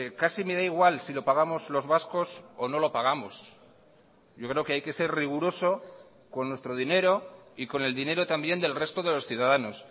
casi me da igual si lo pagamos los vascos o no lo pagamos yo creo que hay que ser riguroso con nuestro dinero y con el dinero también del resto de los ciudadanos